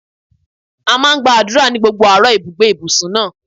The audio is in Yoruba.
A máa ń gba àdúrà ní gbogbo àárọ̀ ni ibùgbé ìbùsùn náà.